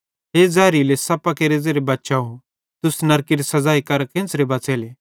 हे ज़हरीले सप्पां केरे ज़ेरे बच्चाव तुस नरकेरी सज़ाई करां केन्च़रे बच़ेले